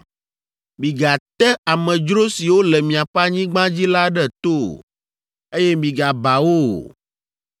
“ ‘Migate amedzro siwo le miaƒe anyigba dzi la ɖe to o, eye migaba wo o.